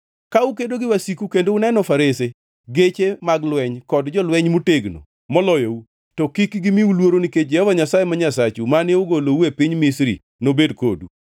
Ka udhi kedo gi wasiku kendo uneno farese, geche mag lweny kod jolweny motegno moloyou, to kik gimiu luoro nikech Jehova Nyasaye ma Nyasachu, mane ogolou e piny Misri nobed kodu.